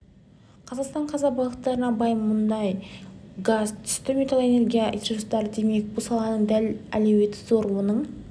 қазақстан қазба байлықтарына бай мұнай-газ түсті метал энергия ресурстары демек бұл саланың да әлеуеті зор оның